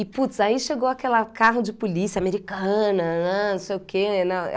E, putz, aí chegou aquela carro de polícia americana, nanã, não sei o quê. Não